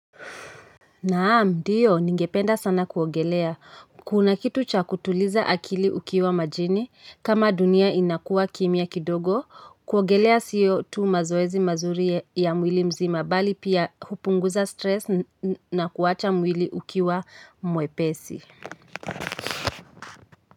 Naam, ndiyo, ningependa sana kuogelea. Kuna kitu cha kutuliza akili ukiwa majini, kama dunia inakuwa kimya kidogo, kuogelea siyo tu mazoezi mazuri ya mwili mzima, bali pia hupunguza stress na kuwacha mwili ukiwa mwepesi.